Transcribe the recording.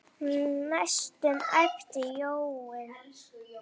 næstum æpti Jói.